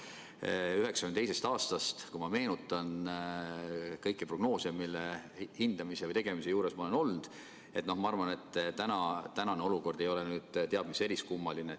Kui ma meenutan 1992. aastast kõiki prognoose, mille hindamise või tegemise juures ma olen olnud, siis ma arvan, et tänane olukord ei ole teab mis eriskummaline.